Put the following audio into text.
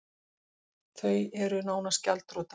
Þau eru nánast gjaldþrota